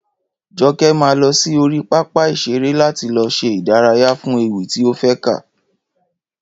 Joke máa lọ sí orí pápá ìṣeré láti lọ ṣe ìdárayá fún ewì tí ó fé kà